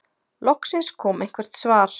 Loksins kom eitthvert svar.